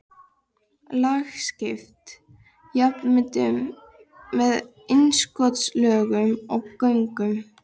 Lagskipt jarðmyndun með innskotslögum og göngum.